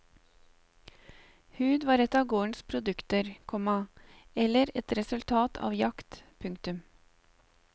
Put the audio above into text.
Hud var et av gårdens produkter, komma eller et resultat av jakt. punktum